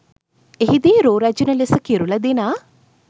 එහි දී රූ රැජිණ ලෙස කිරුළ දිනා